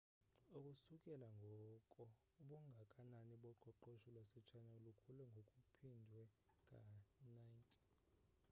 ukusukela ngoko ubungakanani boqoqosho lwase china lukhule ngokuphindwe ka-90